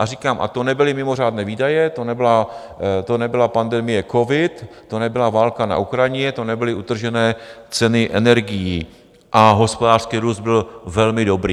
A říkám, a to nebyly mimořádné výdaje, to nebyla pandemie covid, to nebyl válka na Ukrajině, to nebyly utržené ceny energií a hospodářský růst byl velmi dobrý.